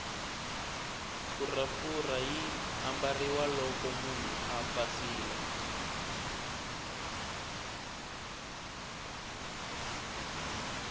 phuraphura yi ambariwa loko munhu a pasile